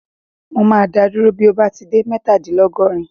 Mo máa dá ọ dúró bí o bá ti dé mẹ́tadìnlọ́gọ́rin.